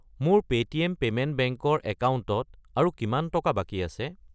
মোৰ Paytm payment bank ৰ একাউণ্টত আৰু কিমান টকা বাকী আছে?